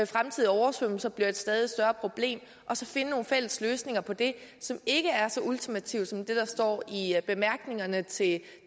fremtidige oversvømmelser også bliver et stadig større problem og så finde nogle fælles løsninger på det som ikke er så ultimative som det der står i bemærkningerne til